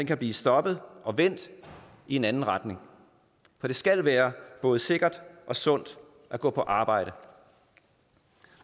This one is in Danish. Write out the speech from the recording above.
kan blive stoppet og vendt i en anden retning for det skal være både sikkert og sundt at gå på arbejde